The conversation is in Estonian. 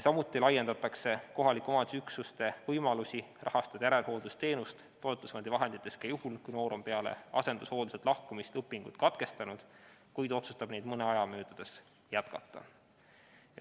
Samuti laiendatakse kohaliku omavalitsuse üksuste võimalusi rahastada järelhooldusteenust toetusfondi vahenditest ka juhul, kui noor on peale asendushoolduselt lahkumist õpingud katkestanud, kuid otsustab neid mõne aja möödudes jätkata.